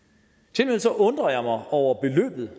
tilmed så undrer jeg mig over beløbet